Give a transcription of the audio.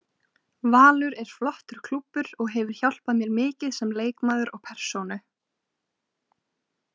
Valur er flottur klúbbur og hefur hjálpað mér mikið sem leikmaður og persónu.